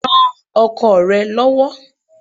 Ran ọkọ rẹ lọ́wọ́.